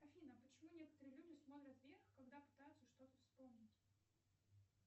афина почему некоторые люди смотрят вверх когда пытаются что то вспомнить